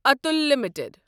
Atul limited